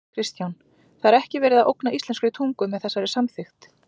Kristján: Það er ekki verið að ógna íslenskri tungu með þessari samþykkt?